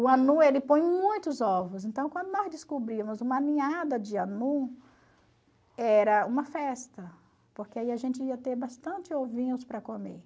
O anu ele põe muitos ovos, então quando nós descobríamos uma ninhada de anu, era uma festa, porque aí a gente ia ter bastante ovinhos para comer.